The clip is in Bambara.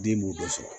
Den b'o bɛɛ sɔrɔ